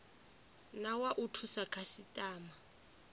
na wa u thusa khasitama